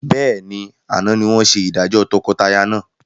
Bẹ́ẹ̀ni, àná ni wọn ṣe ìdájọ́ tọkọtaya náà.